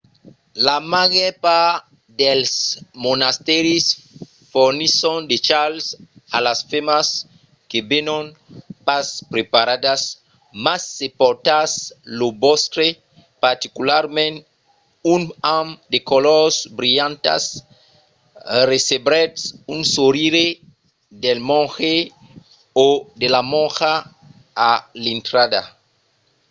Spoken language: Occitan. la màger part dels monastèris fornisson de chals a las femnas que venon pas preparadas mas se portatz lo vòstre particularament un amb de colors brilhantas recebretz un sorire del monge o de la monja a l'intrada